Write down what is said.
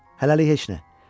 Hələlik heç nə.